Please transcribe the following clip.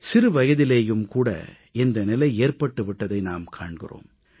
சிறுவயதிலேயும் கூட இந்த நிலை ஏற்பட்டு விட்டதை நாம் காண்கிறோம்